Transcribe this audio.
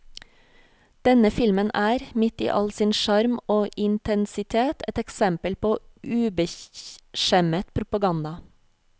Denne filmen er, midt i all sin sjarm og intensitet, et eksempel på ubeskjemmet propaganda.